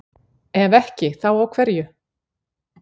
ef ekki þá á hverju